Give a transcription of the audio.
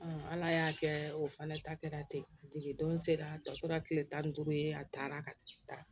ala y'a kɛ o fana ta kɛra ten a tigi don sera tɔ tora tile tan ni duuru ye a taara